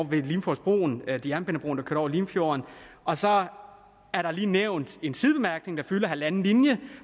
ved limfjordsbroen ved jernbanebroen der går over limfjorden og så er det lige nævnt i en sidebemærkning der fylder halvanden linje